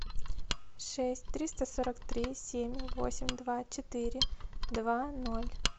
шесть триста сорок три семь восемь два четыре два ноль